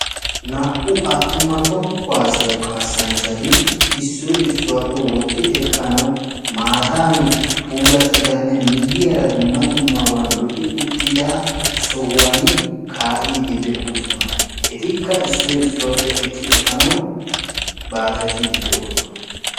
naa"u attuma toho kuwaassiya kassanchchati issoy issuwaappe wotti ekkanaw maatan puulattidanne lo"i uttida sohuwaan ka'idde de'oosona; etikkaa issoy issuwappe ekki efannawu baaxetidde de'oosona.